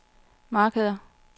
markeder